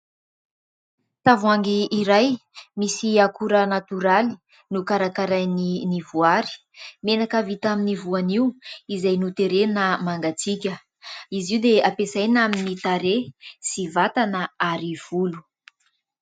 Tavoangy iray misy akora natoraly no karakarain'ny "Ny Voary". Menaka avy tamin'ny voanio izay noterena mangatsika izy io dia ampiasaina amin'ny tarehy sy vatana ary volo.